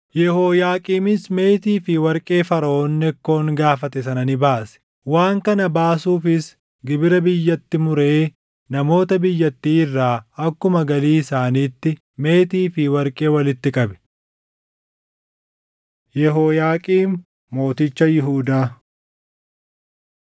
Yehooyaaqiimis meetii fi warqee Faraʼoon Nekkoon gaafate sana ni baase. Waan kana baasuufis gibira biyyatti muree namoota biyyattii irraa akkuma galii isaaniitti meetii fi warqee walitti qabe. Yehooyaaqiim Mooticha Yihuudaa 23:36–24:6 kwf – 2Sn 36:5‑8